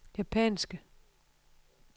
japanske